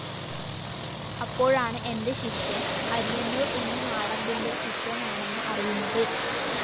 അപ്പോഴാണ് എന്റെ ശിഷ്യന്‍ അരിയന്നൂര്‍ ഉണ്ണി മാടമ്പിന്റെ ശിഷ്യനാണെന്ന് അറിയുന്നത്